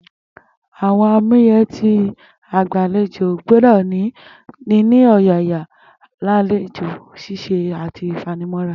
Àwo̩n àmúyé̩ tí agbàlejò gbó̩dò̩ ní ni o̩yàyà, àlejò s̩is̩e àti ìfanimó̩ra